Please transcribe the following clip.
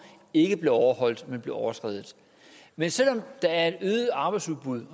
ikke blev overholdt men overskredet men selv om der er et øget arbejdsudbud